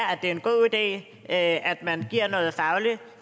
at det er en god idé at man giver noget faglig